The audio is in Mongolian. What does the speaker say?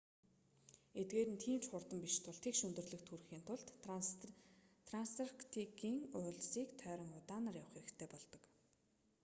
эдгээр нь тийм ч хурдан биш тул тэгш өндөрлөгт хүрэхийн тулд трансарктикийн уулсыг тойрон удаанаар явах хэрэгтэй болдог